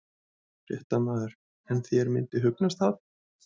Fréttamaður: En þér myndi hugnast það?